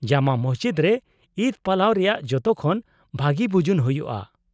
-ᱡᱟᱢᱟ ᱢᱚᱥᱡᱤᱫ ᱨᱮ ᱤᱫ ᱯᱟᱞᱟᱣ ᱨᱮᱭᱟᱜ ᱡᱚᱛᱚᱠᱷᱚᱱ ᱵᱷᱟᱹᱜᱤ ᱵᱩᱡᱩᱱ ᱦᱩᱭᱩᱜᱼᱟ ᱾